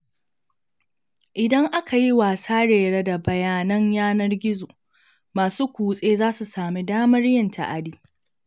Idan aka yi wasarere da bayanan yanar-gizo, masu kutse za su sami damar yin ta'adi.